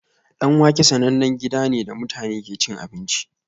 Danwake sanannen gida ne da mutane ke cin abinci